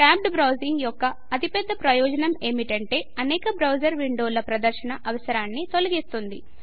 tabbed browsing యొక్క అతిపెద్ద ప్రయోజనం ఏమిటంటే అనేక బ్రౌజర్ విండోల ప్రదర్శన అవసరాన్ని తొలగిస్తుంది